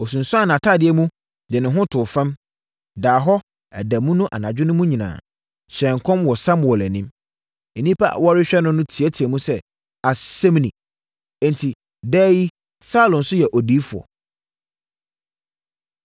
Ɔsunsuanee nʼatadeɛ mu, de ne ho too fam, daa hɔ ɛda mu ne anadwo mu nyinaa, hyɛɛ nkɔm wɔ Samuel anim. Nnipa a wɔrehwɛ no no teateaam sɛ, “Asɛm ni? Enti, daa yi Saulo nso yɛ odiyifoɔ?”